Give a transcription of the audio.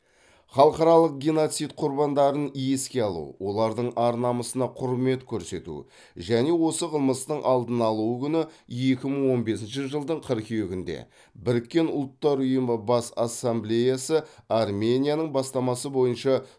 халықаралық геноцид құрбандарын еске алу олардың ар намысына құрмет көрсету және осы қылмыстың алдын алу күні екі мың он бесінші жылдың қыркүйегінде біріккен ұлттар ұйымының бас ассамблеясы арменияның бастамасы бойынша